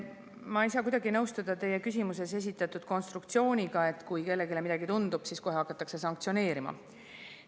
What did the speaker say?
Ma ei saa kuidagi nõustuda teie küsimuses esitatud konstruktsiooniga, et kui kellelegi midagi tundub, siis kohe hakatakse sanktsioneerima.